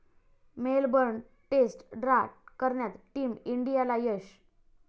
Melbourne test draw करण्यात team इंडियाला यश